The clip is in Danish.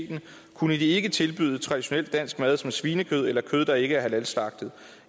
kunne de ikke tilbyde traditionel dansk mad som svinekød eller kød der ikke er halal slagtet